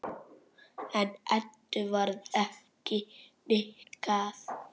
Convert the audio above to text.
En Eddu varð ekki hnikað.